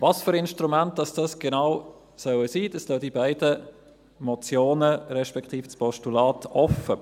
Was für Instrumente es genau sein sollen, lassen die beiden Motionen, respektive das Postulat , offen.